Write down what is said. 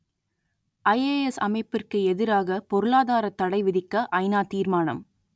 IAS அமைப்புக்கு எதிராக பொருளாதாரத் தடை விதிக்க ஐநா தீர்மானம்